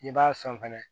N'i b'a sɔn fɛnɛ